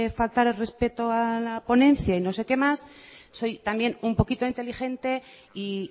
faltar el respeto a la ponencia y no sé qué más soy también un poquito inteligente y